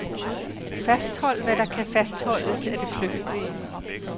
Fasthold hvad der kan fastholdes af det flygtige.